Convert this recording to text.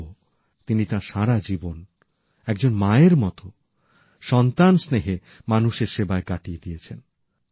তবুও তিনি তাঁর সারা জীবন একজন মায়ের মত সন্তান স্নেহে মানুষের সেবায় কাটিয়ে দিয়েছেন